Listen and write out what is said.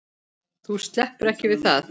Þú sleppur ekki við það!